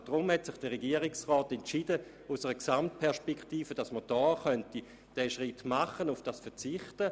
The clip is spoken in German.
Deshalb hat sich der Regierungsrat aus einer Gesamtperspektive heraus dazu entschieden, diesen Schritt vorzunehmen und auf diese Vergütung zu verzichten.